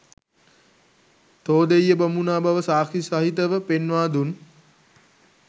තෝදෙය්‍ය බමුණා බව සාක්ෂි සහිතව පෙන්වා දුන්